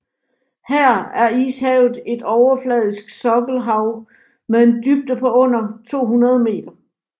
Her er Ishavet et overfladisk sokkelhav med en dybde på under 200 meter